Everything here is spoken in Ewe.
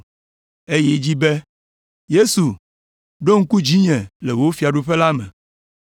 Eyi edzi be, “Yesu ɖo ŋku dzinye le wò fiaɖuƒe la me.”